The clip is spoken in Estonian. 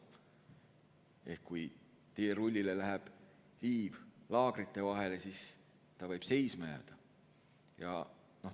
Ehk kui teerullil läheb liiv laagrite vahele, siis ta võib seisma jääda.